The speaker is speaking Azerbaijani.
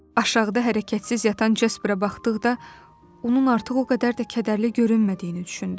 Aşağıda hərəkətsiz yatan Jasperpə baxdıqda onun artıq o qədər də kədərli görünmədiyini düşündüm.